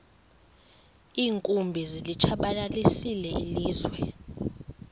iinkumbi zilitshabalalisile ilizwe